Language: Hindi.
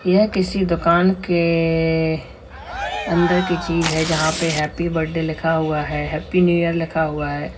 यह किसी दुकान के अंदर की चीज है जहां पे हैप्पी बर्थडे लिखा हुआ है हैप्पी न्यू ईयर लिखा हुआ है।